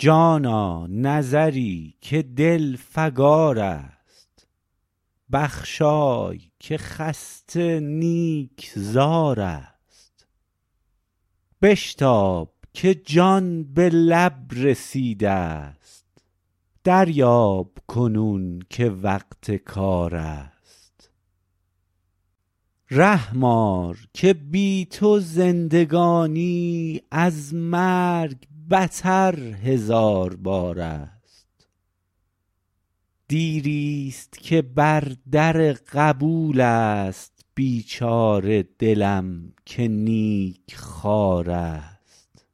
جانا نظری که دل فگار است بخشای که خسته نیک زار است بشتاب که جان به لب رسید است دریاب کنون که وقت کار است رحم آر که بی تو زندگانی از مرگ بتر هزار بار است دیری است که بر در قبول است بیچاره دلم که نیک خوار است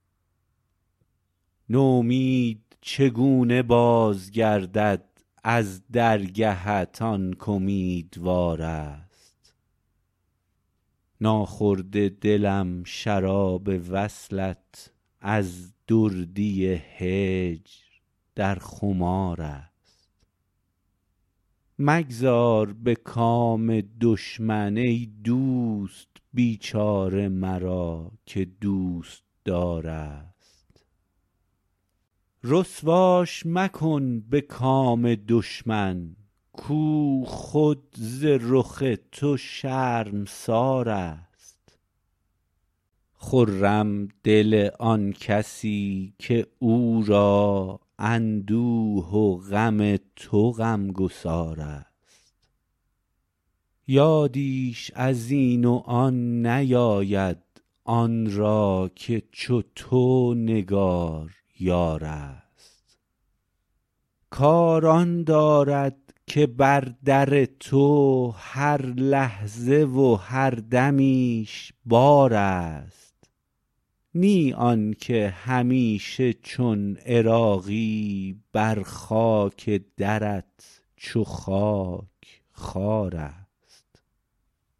نومید چگونه باز گردد از درگهت آن کامیدوار است ناخورده دلم شراب وصلت از دردی هجر در خمار است مگذار به کام دشمن ای دوست بیچاره مرا که دوستدار است رسواش مکن به کام دشمن کو خود ز رخ تو شرمسار است خرم دل آن کسی که او را اندوه و غم تو غمگسار است یادیش ازین و آن نیاید آن را که چو تو نگار یار است کار آن دارد که بر در تو هر لحظه و هر دمیش بار است نی آنکه همیشه چون عراقی بر خاک درت چو خاک خوار است